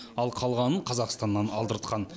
ал қалғанын қазақстаннан алдыртқан